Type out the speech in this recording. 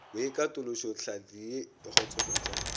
boikatološo tlhahli ye e khutsofatša